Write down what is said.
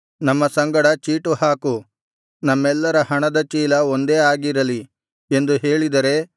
ನಮ್ಮ ಸಂಗಡ ಚೀಟು ಹಾಕು ನಮ್ಮೆಲ್ಲರ ಹಣದ ಚೀಲ ಒಂದೇ ಆಗಿರಲಿ ಎಂದು ಹೇಳಿದರೆ